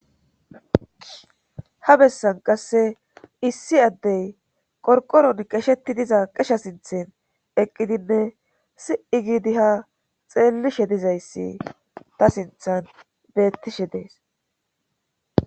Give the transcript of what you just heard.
Ha bessan qasse issi addey qorqoron qesheti diza qesha sinthen eqqidinne si7i giidi ha xeelishe dizayssi ta sinthan bettishe dees.